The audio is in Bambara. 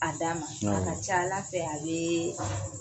Adama awɔ a ka c' ala fɛ a bee